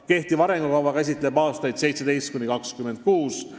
Kehtiv arengukava käsitleb aastaid 2017–2026.